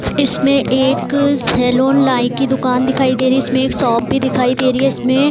इसमें एक अअ सैलून लाई की दुकान दिखाई दे रही इसमें एक शॉप भी दिखाई दे रही है इसमें --